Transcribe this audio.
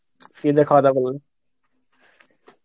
কি দে খাওয়া দাওয়া করলে?